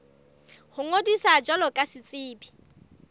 ho ngodisa jwalo ka setsebi